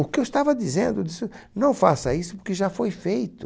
O que eu estava dizendo disso, não faça isso porque já foi feito.